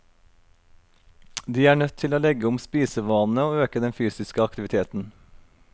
De er nødt til å legge om spisevanene og øke den fysiske aktiviteten.